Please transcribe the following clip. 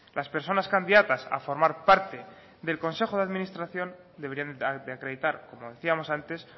las personas candidatas a formar parte del consejo de administración deberían de acreditar como decíamos antes